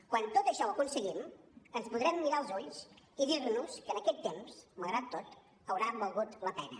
quan tot això ho aconseguim ens podrem mirar als ulls i dir nos que aquest temps malgrat tot haurà valgut la pena